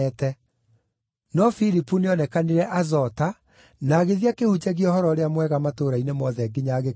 No Filipu nĩonekanire Azota, na agĩthiĩ akĩhunjagia Ũhoro-ũrĩa-Mwega matũũra-inĩ mothe nginya agĩkinya Kaisarea.